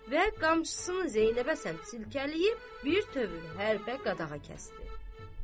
Və qamçısını Zeynəbə səmt silkələyib bir tövür həppə qadağa kəsdi.